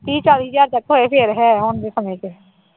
ਤੀਹ ਚਾਲੀ ਹਜ਼ਾਰ ਤੱਕ ਹੋਏ ਫਿਰ ਹੈ ਹੁਣ ਦੇ ਸਮੇਂ ਚ